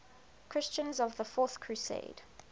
christians of the fourth crusade